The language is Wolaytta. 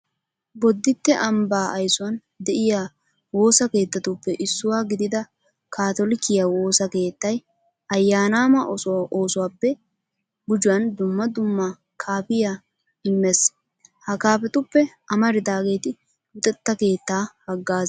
Bodditte ambbaa aysuwan de'iya woosa keettatuppe issuwa gidida kaatolikiya woosa keettay ayyaanaama oosuwappe gujuwan dumma dumma kaafiya immees. Ha kaafetuppe amaridaageeti luxetta keettaa haggaazaa.